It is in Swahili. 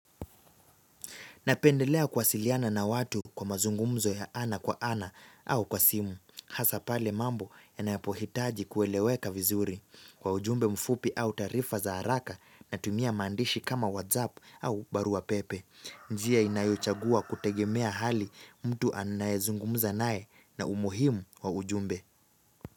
Napendelea kuwasiliana na watu kwa mazungumzo ya ana kwa ana au kwa simu, hasa pale mambo ya napohitaji kueleweka vizuri, kwa ujumbe mfupi au taarifa za haraka natumia maandishi kama whatsapp au barua pepe. Njia inayochagua kutegemea hali mtu anayezungumza naye na umuhimu wa ujumbe.